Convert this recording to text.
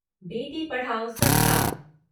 बेटी पढ़ाओ सप्ताह